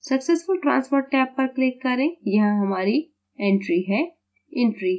successful transfer tab पर click करें यहाँ हमारी entry है